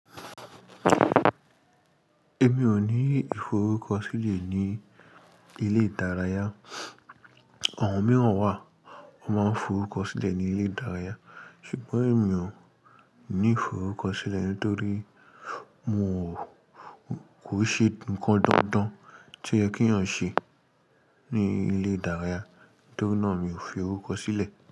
Èmi ò ní ìforúkọ sílẹ̀ ní ilé ìdárayá. Àwọn mìíràn wà ó máa ń forúkọ sílẹ̀ ní ilé ìdárayá, ṣùgbọ́n èmi ò ní ìforúkọ sílẹ̀ nítorí mo kò ṣe nǹkan dandan tí ẹ kí ọ̀ ń ṣe ní ilé ìdárayá, nítorínà mi ò fi orúkọ sílẹ̀.